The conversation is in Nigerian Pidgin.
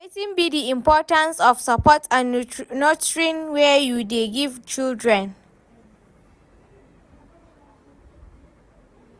Wetin be di importance of support and nurturing wey you dey give children?